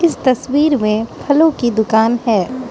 तस्वीर में फलों की दुकान है।